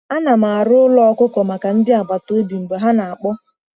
Ana m arụ ụlọ ọkụkọ maka ndị agbata obi mgbe ha na-akpọ.